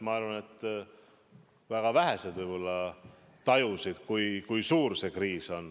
Ma arvan, et väga vähesed võib-olla tajusid, kui suur see kriis on.